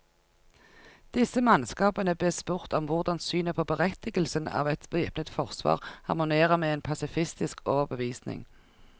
Disse mannskapene bes spurt om hvordan synet på berettigelsen av et væpnet forsvar harmonerer med en pasifistisk overbevisning.